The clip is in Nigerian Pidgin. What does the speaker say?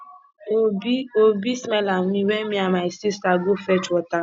obi obi smile at me wen me and my sister go fetch water